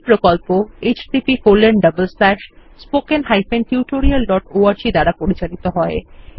এই প্রকল্প httpspoken tutorialorg দ্বারা পরিচালিত হয়